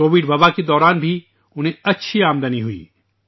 Covid وبائی مرض کے دوران بھی انہیں اچھی آمدنی حاصل ہوئی